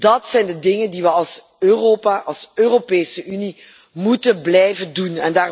Dat zijn de dingen die we als Europa, als Europese Unie, moeten blijven doen.